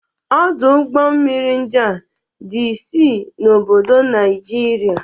Ọdụ ụgbọ mmiri ndia dị isii n'obodo Naịjirịa